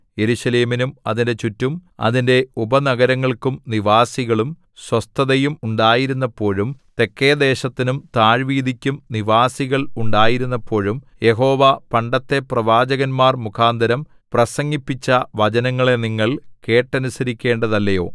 യെരൂശലേമിനും അതിന്റെ ചുറ്റും അതിന്റെ ഉപനഗരങ്ങൾക്കും നിവാസികളും സ്വസ്ഥതയും ഉണ്ടായിരുന്നപ്പോഴും തെക്കെ ദേശത്തിനും താഴ്വീതിക്കും നിവാസികൾ ഉണ്ടായിരുന്നപ്പോഴും യഹോവ പണ്ടത്തെ പ്രവാചകന്മാർ മുഖാന്തരം പ്രസംഗിപ്പിച്ച വചനങ്ങളെ നിങ്ങൾ കേട്ടനുസരിക്കേണ്ടതല്ലയോ